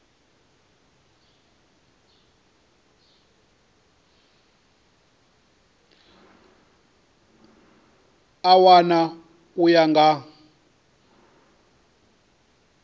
a wana u ya nga